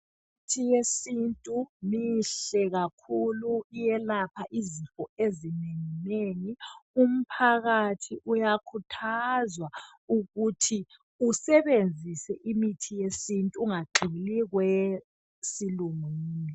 Imithi yesintu mihle kakhulu iyelapha izifo ezinengi nengi .Umphakathi uyakhuthazwa ukuthi usebenzise imithi yesintu ingagxili kweyesilungwini.